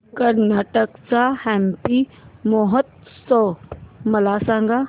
कर्नाटक चा हम्पी महोत्सव मला सांग